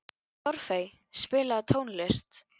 Torfey, spilaðu tónlist.